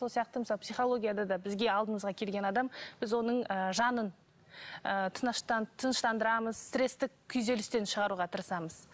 сол сияқты мысалы психологияда да бізге алдымызға келген адам біз оның ы жанын ы тыныштандырамыз стресстік күйзелістен шығаруға тырысамыз